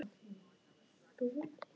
Ekki vera svona spennt, elskan mín.